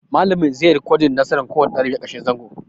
Malamin zai yi ricodin nasaran kowane ɗalibi a ƙarshen zango